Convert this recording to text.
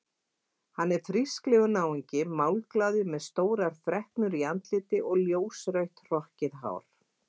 Hann er frísklegur náungi, málglaður með stórar freknur í andliti og ljósrautt hrokkið hár.